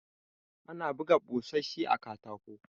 Ana buga ɓusoshi a katako.